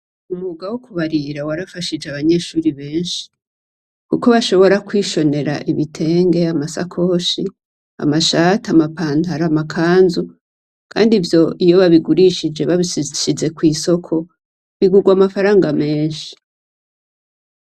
Umwuga wo kubarira warafashije abanyeshure benshi. Kuko bashobora kwishonera ibitenge, amashakoshi, amashati, amapantaro, amakanzu kandi ivyo iyo babigurishije bashize kw'isoko bigugwa amafaranga menshi.